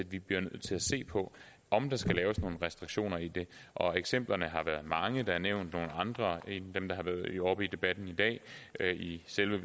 vi bliver nødt til at se på om der skal laves nogle restriktioner i det og eksemplerne har været mange der er nævnt nogle andre end dem der har været oppe i debatten i dag i selve